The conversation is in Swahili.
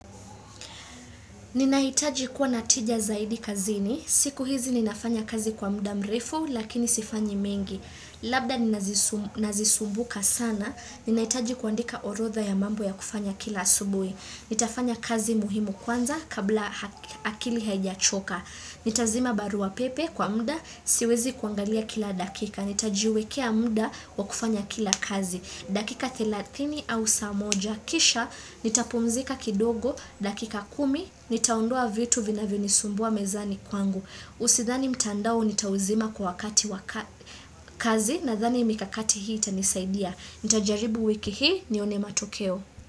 Ninahitaji kuwa na tija zaidi kazini. Siku hizi ninafanya kazi kwa muda mrefu lakini sifanyi mengi. Labda ninazisumbuka sana, ninahitaji kuandika orodha ya mambo ya kufanya kila asubuhi. Nitafanya kazi muhimu kwanza kabla akili haijachoka. Nitazima barua pepe kwa muda siwezi kuangalia kila dakika Nitajiwekea muda wa kufanya kila kazi dakika thelathini au saa moja Kisha nitapumzika kidogo dakika kumi nitaondoa vitu vinavyonisumbua mezani kwangu Usidhani mtandao nitauzima kwa wakati wa kazi kazi nadhani mikakati hii itanisaidia Nitajaribu wiki hii nione matokeo.